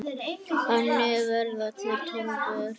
Þannig verða til Tólfur.